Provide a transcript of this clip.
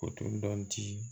O tun dɔnni ti